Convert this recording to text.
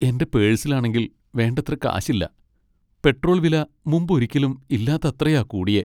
എന്റെ പേഴ്സിലാണെങ്കിൽ വേണ്ടത്ര കാശില്ല, പെട്രോൾ വില മുമ്പൊരിക്കലും ഇല്ലാത്തത്രയാ കൂടിയേ.